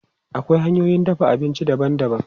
Akwai hanyoyin dafa abinci daban-daban.